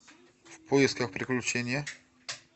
в поисках приключения